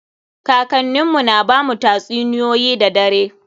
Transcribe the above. Kakannin mu na bamu tatsuniyoyi da dare.